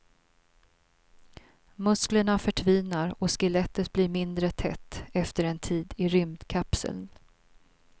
Musklerna förtvinar och skelettet blir mindre tätt efter en tid i rymdkapsel.